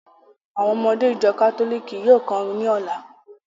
Àwọn ọmọdé ìjọ kátólìkì yóò kọrin ní ọ̀la.